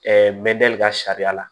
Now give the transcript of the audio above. me d'i ka sariya la